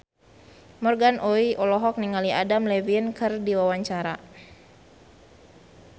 Morgan Oey olohok ningali Adam Levine keur diwawancara